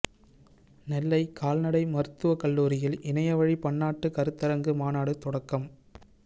நெல்லை கால்நடை மருத்துவக்கல்லூரியில் இணைய வழி பன்னாட்டு கருத்தரங்கு மாநாடு தொடக்கம்